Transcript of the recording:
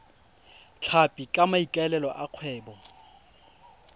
tlhapi ka maikaelelo a kgwebo